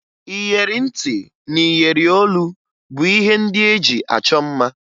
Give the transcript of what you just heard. Iyeri ntị na iyeri olu bụ ihe ndị e ji achọ mma